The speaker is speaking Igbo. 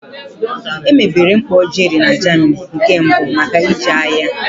Emebere mkpọ Jerry na Germany nke mbụ maka iji agha.